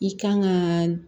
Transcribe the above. I kan ka